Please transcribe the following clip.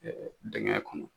Dɛngɛn kɔnɔ.